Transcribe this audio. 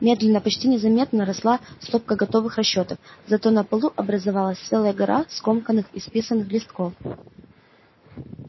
медленно почти незаметно росла стопка готовых расчётов зато на полу образовалась целая гора скомканных исписанных листков